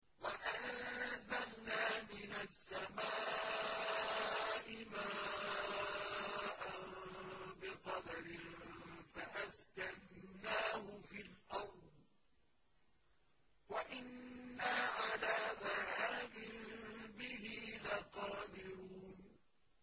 وَأَنزَلْنَا مِنَ السَّمَاءِ مَاءً بِقَدَرٍ فَأَسْكَنَّاهُ فِي الْأَرْضِ ۖ وَإِنَّا عَلَىٰ ذَهَابٍ بِهِ لَقَادِرُونَ